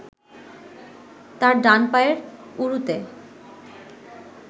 তার ডান পায়ের উরুতে